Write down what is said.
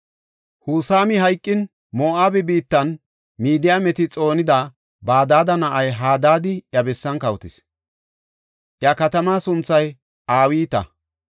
Husami hayqin, Moo7abe biittan Midiyaameta xoonida Badada na7ay Hadaadi iya bessan kawotis; iya katamaa sunthay Awiita.